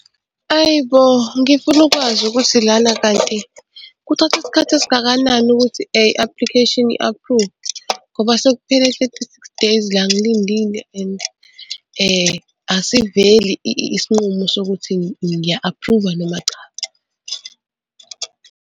Hhayi bo ngifuna ukwazi ukuthi lana kanti kuthatha isikhathi esingakanani ukuthi i-application i-aphruve ngoba sekuphela thirty-six days la ngilindile and asiveli isinqumo sokuthi ngiya-aphruva noma cha.